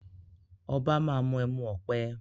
Obá má mí emu-ọpẹ́